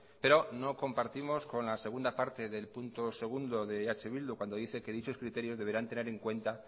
pero no compartimos con la segunda parte del punto segundo de eh bildu cuando dice que dichos criterios deberán tener en cuenta